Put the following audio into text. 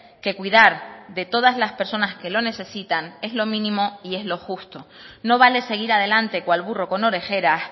que cuidar de todas las personas que lo necesitan es lo mínimo y es lo justo no vale seguir adelante cual burro con orejeras